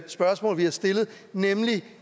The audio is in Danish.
spørgsmål vi har stillet nemlig